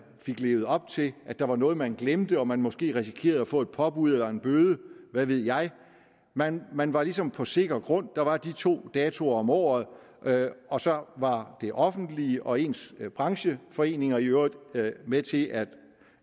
fik levet op til at der var noget man glemte og at man måske risikerede at få et påbud eller en bøde hvad ved jeg man man var ligesom på sikker grund der var de to datoer om året og så var det offentlige og ens brancheforeninger i øvrigt med til at